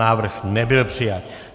Návrh nebyl přijat.